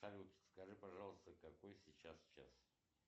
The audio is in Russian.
салют скажи пожалуйста какой сейчас час